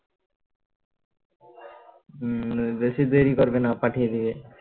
হম বেশি দেরি করবেনা পাঠিয়ে দেবে